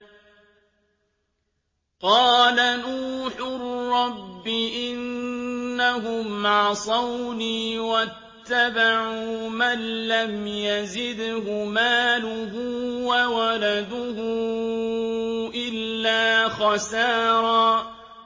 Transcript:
قَالَ نُوحٌ رَّبِّ إِنَّهُمْ عَصَوْنِي وَاتَّبَعُوا مَن لَّمْ يَزِدْهُ مَالُهُ وَوَلَدُهُ إِلَّا خَسَارًا